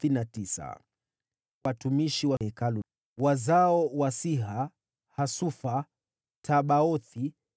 Watumishi wa Hekalu: wazao wa Siha, Hasufa, Tabaothi,